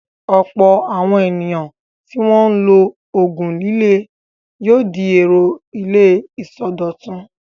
Ọ̀pọ̀ àwọn ènìyàn tí wọ́n ń lo òògùn líle yóò di èrò ilé ìsọdọ̀tun.